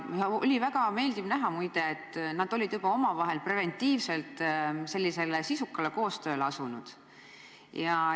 Muide, oli väga meeldiv näha, et nad olid omavahel juba preventiivselt asunud sisukale koostööle.